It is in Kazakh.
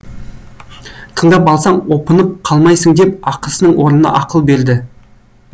тыңдап алсаң опынып қалмайсың деп ақысының орнына ақыл берді